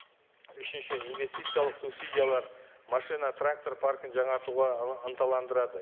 үшінші инвестициялық субсидиялар машина трактор паркинг жаңартуға ынталандырады